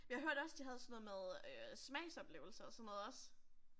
Jeg hørte også de havde sådan noget med øh smagsoplevelser og sådan noget også